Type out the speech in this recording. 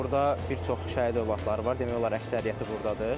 Burda bir çox şəhid övladları var, demək olar əksəriyyəti burdadır.